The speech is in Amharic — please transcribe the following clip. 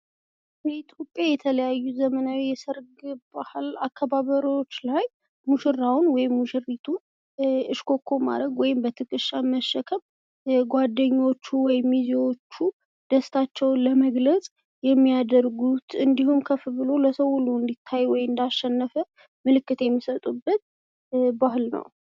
በኢትዮጵያ የተለያዩ ዘመናዊ የሰርግ አከባበር ላይ ሙሽራውን ወይም ሙሽሪትን እሽኮኮ ማለት ወይም ትከሻ ላይ መሸከም ሚዜዎቹ ደስታቸውን ለመግለጽ ፣ ከፍ አድርጎ ለማሳየት፣ ወይም ደግሞ እንዳሸነፈ ለማሳየት የሚያደርጉት ባህል ነው።